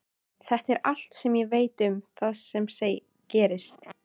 Þetta er allt sem ég veit um það sem gerðist.